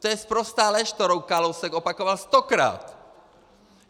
To je sprostá lež, kterou Kalousek opakoval stokrát.